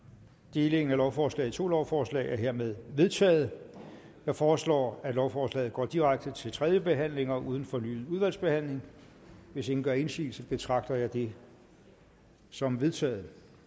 delingen af lovforslaget i to lovforslag er hermed vedtaget jeg foreslår at lovforslaget går direkte til tredje behandling uden fornyet udvalgsbehandling hvis ingen gør indsigelse betragter jeg det som vedtaget